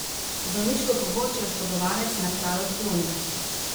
Zdravniško pomoč je oškodovanec na kraju odklonil.